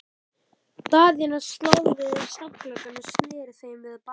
Daðína stóð við stafngluggann og sneri við þeim baki.